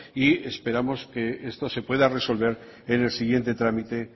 y esperamos que esto se pueda resolver en el siguiente tramite